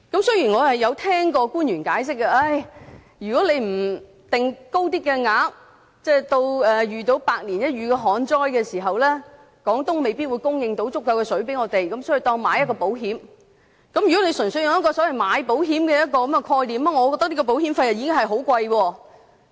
雖然我曾聽過官員解釋，如果不設定較高的供水量，至遇到百年一遇的旱災時，廣東未必能供應足夠的水給香港，所以，當作是購買保險。